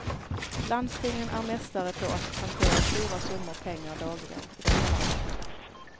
Landstingen är mästare på att hantera stora summor pengar dagligen i detta land.